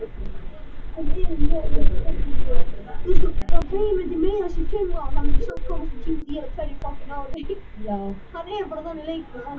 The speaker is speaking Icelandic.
Heimild til þessa er að finna í